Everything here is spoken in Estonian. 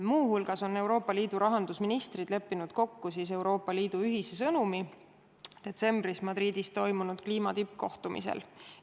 Muu hulgas on Euroopa Liidu rahandusministrid leppinud kokku Euroopa Liidu ühise sõnumi, mis anti edasi detsembris Madridis toimunud kliimatippkohtumisel.